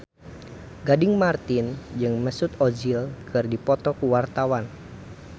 Gading Marten jeung Mesut Ozil keur dipoto ku wartawan